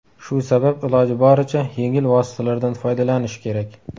Shu sabab iloji boricha yengil vositalardan foydalanish kerak.